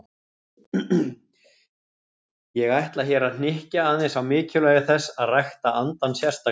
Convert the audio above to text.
Ég ætla hér að hnykkja aðeins á mikilvægi þess að rækta andann sérstaklega.